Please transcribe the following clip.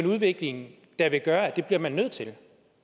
en udvikling der vil gøre at det bliver man nødt til